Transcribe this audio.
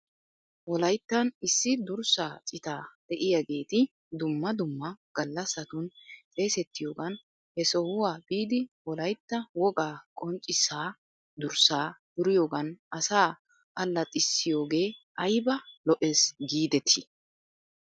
Wolayttan issi durssaa cita de'iyaageeti dumma dumma gallassatun xeesettiyoogan he sohuwaa biidi wolagtta wogaa qonccissihaa durssaa duriyoogan asaa allaxxissiyoogee ayba lo'es giidetii?